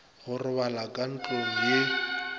go robala ka ntlong ye